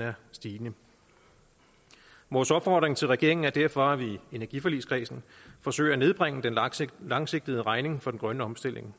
er stigende vores opfordring til regeringen er derfor at vi i energiforligskredsen forsøger at nedbringe den langsigtede langsigtede regning for den grønne omstilling